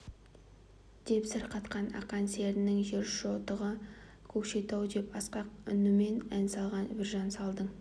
деп сыр қатқан ақан серінің жер шоқтығы көкшетау деп асқақ үнімен ән салған біржан салдың